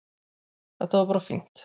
Þetta var bara fínt